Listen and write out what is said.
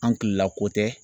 An kilela ko tɛ.